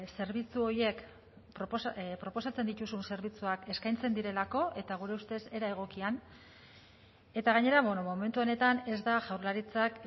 zerbitzu horiek proposatzen dituzun zerbitzuak eskaintzen direlako eta gure ustez era egokian eta gainera momentu honetan ez da jaurlaritzak